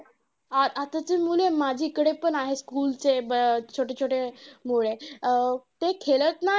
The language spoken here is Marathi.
अं आताची मुले माझ्याकडे पण आहेत school चे छोटे छोटे मुले. ते खेळत नाही.